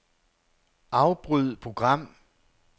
Afbryd program.